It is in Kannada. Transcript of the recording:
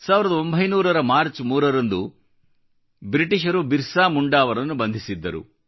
ಅವರು 1900 ರ ಮಾರ್ಚ್ 3 ರಂದು ಬ್ರಿಟಿಷರು ಬಿರ್ಸಾ ಮುಂಡಾ ಅವರನ್ನು ಬಂಧಿಸಿದ್ದರು